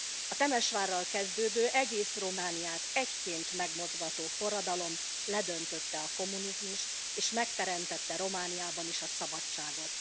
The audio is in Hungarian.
A Temesvárral kezdődő, egész Romániát egyként megmozgató forradalom ledöntötte a kommunizmust, és megteremtette Romániában is a szabadságot.